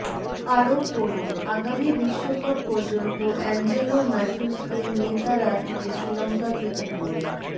আরও পড়ুন আগামী বিশ্বকাপ পর্যন্ত অ্যাঞ্জেলো ম্যাথুজকেই নেতা রাখবে শ্রীলঙ্কা ক্রিকেট বোর্ড